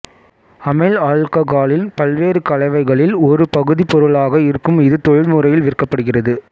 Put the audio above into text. அமைல் ஆல்ககால்களின் பல்வேறு கலவைகளில் ஒரு பகுதிப்பொருளாக இருக்கும் இது தொழில் முறையில் விற்கப்படுகிறது